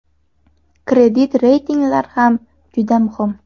Kredit reytinglar ham juda muhim.